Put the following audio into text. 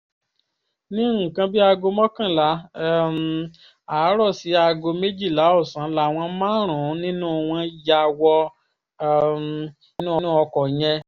ní nǹkan bíi aago mọ́kànlá um àárọ̀ sí aago méjìlá ọ̀sán làwọn márùn-ún nínú wọn ya wọ um inú ọkọ̀ yẹn